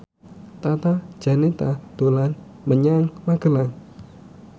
Tata Janeta dolan menyang Magelang